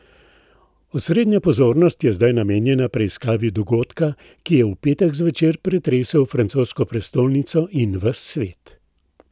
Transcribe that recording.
Osrednja pozornost je zdaj namenjena preiskavi dogodka, ki je v petek zvečer pretresel francosko prestolnico in ves svet.